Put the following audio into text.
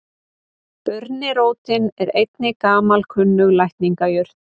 Burnirótin er einnig gamalkunnug lækningajurt.